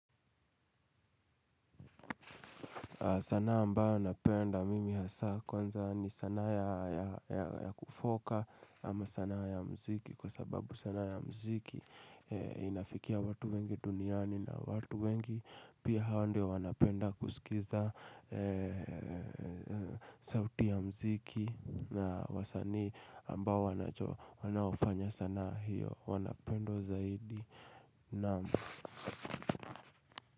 Sana ambayo napenda mimi hasa kwanza ni sana ya kufoka ama sana ya mziki kwa sababu sana ya mziki inafikia watu wengi duniani na watu wengi pia hawa ndio wanapenda kusikiza sauti ya mziki na wasani ambayo wanafanya sana hiyo wanapendwa zaidi namu.